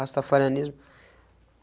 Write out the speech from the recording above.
Rastafarianismo.